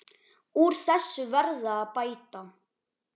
Úr þessu verði að bæta.